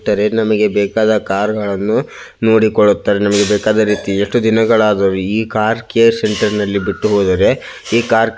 ತಾರೇ ನಮಗೆ ಬೇಕಾದ ಕಾರ್ ಗಳನ್ನೂ ನೋಡಿಕೊಳ್ಳುತ್ತಾರೆ ನಮಗೆ ಬೇಕಾದ ರೀತಿ ಎಷ್ಟು ದಿನ ಗಳಾಗಲಿ ಈ ಕಾರ್ ಅನ್ನು ಕೇರ್ ಸೆಂಟರ್ ನಲ್ಲಿ ಬಿಟ್ಟು ಹೋದರೆ ಈ ಕಾರ್ --